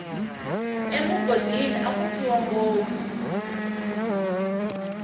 emugodini aku fiwa ngopfu